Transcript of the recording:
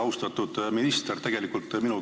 Austatud minister!